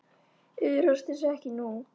Iðrast þess ekki nú.